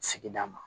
Sigida ma